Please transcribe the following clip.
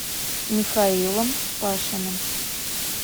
михаилом пашиным